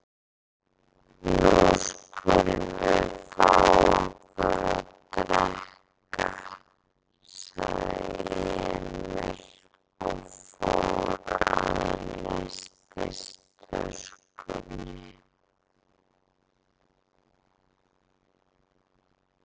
Nú skulum við fá okkur að drekka, sagði Emil og fór að nestistöskunni.